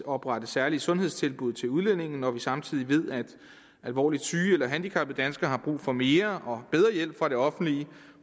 oprette særlige sundhedstilbud til udlændinge når vi samtidig ved at alvorligt syge eller handicappede danskere har brug for mere og bedre hjælp fra det offentlige